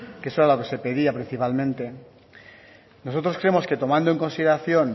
que eso era lo que se pedía principalmente nosotros creemos que tomando en consideración